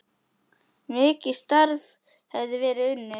Mikið starf hefði verið unnið.